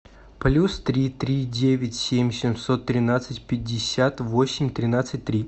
плюс три три девять семь семьсот тринадцать пятьдесят восемь тринадцать три